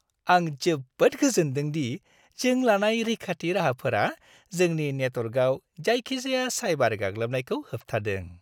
आं जोबोद गोजोनदों दि जों लानाय रैखाथि राहाफोरा जोंनि नेटअवार्कआव जायखिजाया साइबार गाग्लोबनायखौ होबथादों।